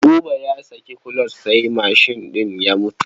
Buba ya saki kuloc sai mashin ɗin ya mutu.